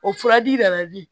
O furaji nana di